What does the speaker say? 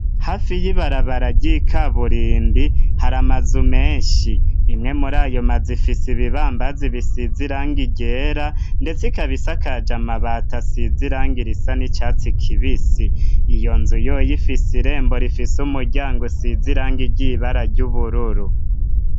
Hafi y'ibarabara ry'ikaburimbi hari amazu menshi. Imwe muri ayo mazu ifise ibibambazi bisize irangi ryera, ndetse ikaba isakaje amabati asize irangi risa n'icatsi kibisi. Iyo nzu yoyo ifise irembo rifise umuryango usize irangi ry'ibara ry'ubururu.